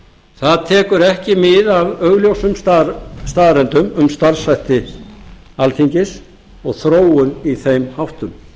það tekur ekki mið af augljósum staðreyndum um starfshætti alþingis og þróun í þeim háttum ég